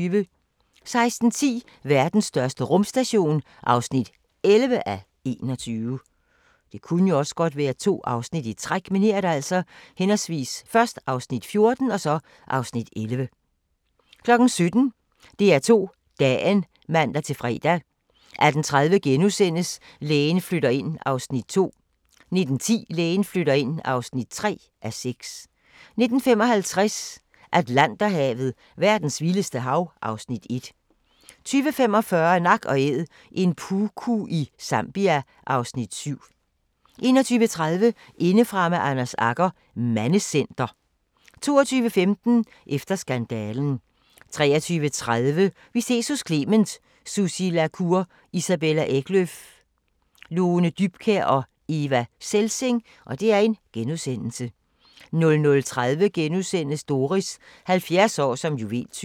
16:10: Verdens største rumstation (11:21) 17:00: DR2 Dagen (man-fre) 18:30: Lægen flytter ind (2:6)* 19:10: Lægen flytter ind (3:6) 19:55: Atlanterhavet: Verdens vildeste hav (Afs. 1) 20:45: Nak & Æd – en puku i Zambia (Afs. 7) 21:30: Indefra med Anders Agger – Mandecenter 22:15: Efter skandalen 23:30: Vi ses hos Clement: Sussi La Cour, Isabella Eklöf, Lone Dybkjær og Eva Selsing * 00:30: Doris – 70 år som juveltyv *